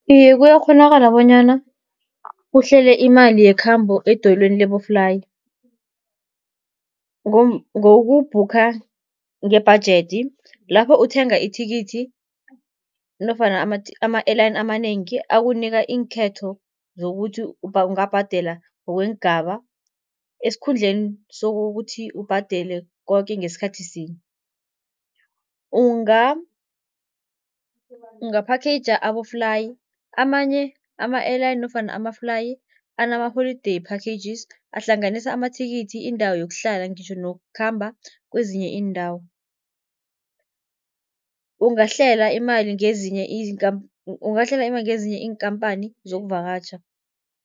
Iye, kuyakghonakala bonyana uhlele imali yekhambo edoyelweni laboflayi, ngoku-booker ngebhajedi lapho uthenga ithikithi nofana ama-air line amanengi akunika iinkhetho zokuthi ungabhadela ngokweengaba, esikhundleni sokuthi ubhadele koke ngesikhathi sinye. Unga-packager aboflayi amanye ama-air line nofana ama-fly anamaholideyi packages, ahlanganisa amathikithi, indawo yokuhlala ngitjho nokukhamba kwezinye iindawo. Ungahlela imali ngezinye ungehlala imali ngezinye iinkhamphani zokuvakatjha.